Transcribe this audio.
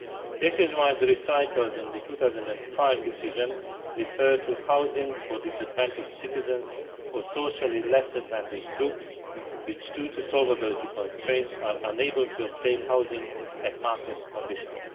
This is why the recitals in the 2005 decision refer to housing for disadvantaged citizens or socially less advantaged groups which, due to solvency constraints, are unable to obtain housing at market conditions.